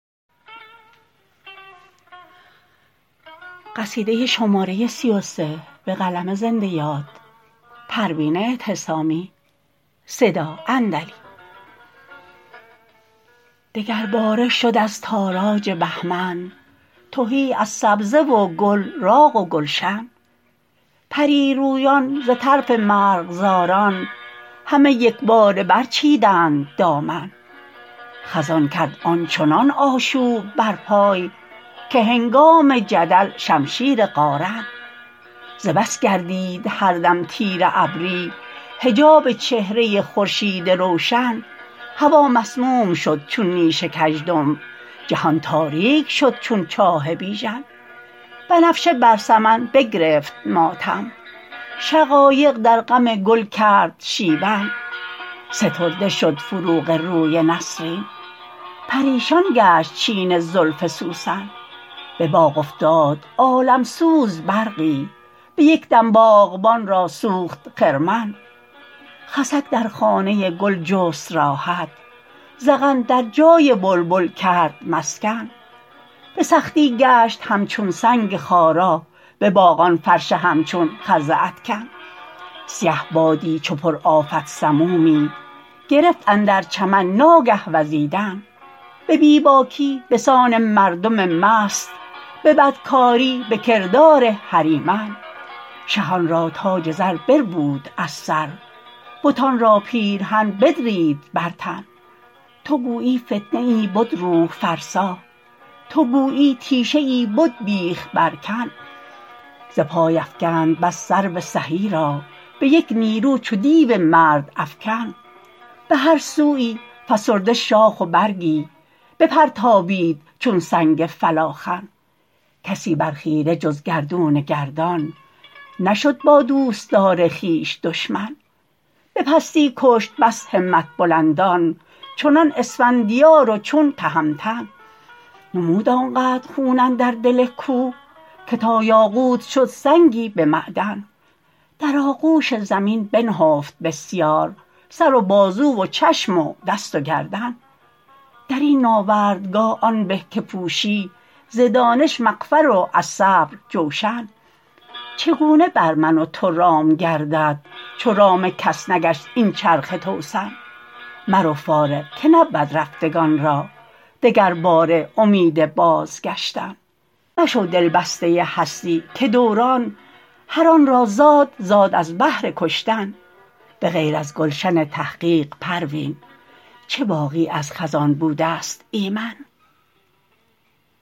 دگر باره شد از تاراج بهمن تهی از سبزه و گل راغ و گلشن پریرویان ز طرف مرغزاران همه یکباره بر چیدند دامن خزان کرد آنچنان آشوب بر پای که هنگام جدل شمشیر قارن ز بس گردید هر دم تیره ابری حجاب چهره خورشیدی روشن هوا مسموم شد چون نیش کژدم جهان تاریک شد چون چاه بیژن بنفشه بر سمن بگرفت ماتم شقایق در غم گل کرد شیون سترده شد فروغ روی نسرین پریشان گشت چین زلف سوسن بباغ افتاد عالم سوز برقی بیکدم باغبان را سوخت خرمن خسک در خانه گل جست راحت زغن در جای بلبل کرد مسکن بسختی گشت همچون سنگ خارا بباغ آن فرش همچون خز ادکن سیه بادی چو پر آفت سمومی گرفت اندر چمن ناگه وزیدن به بیباکی بسان مردم مست به بدکاری بکردار هریمن شهان را تاج زر بربود از سر بتان را پیرهن بدرید بر تن تو گویی فتنه ای بد روح فرسا تو گویی تیشه ای بد بیخ بر کن ز پای افکند بس سرو سهی را بیک نیرو چو دیو مردم افکن بهر سویی فسرده شاخ و برگی بپرتابید چون سنگ فلاخن کسی بر خیره جز گردون گردان نشد با دوستدار خویش دشمن به پستی کشت بس همت بلندان چنان اسفندیار و چون تهمتن نمود آنقدر خون اندر دل کوه که تا یاقوت شد سنگی به معدن در آغوش ز می بنهفت بسیار سر و بازو و چشم و دست و گردن در این ناوردگاه آن به که پوشی ز دانش مغفر و از صبر جوشن چگونه بر من و تو رام گردد چو رام کس نگشت این چرخ توسن مرو فارغ که نبود رفتگان را دگر باره امید بازگشتن مشو دلبسته هستی که دوران هر آنرا زاد زاد از بهر کشتن بغیر از گلشن تحقیق پروین چه باغی از خزان بودست ایمن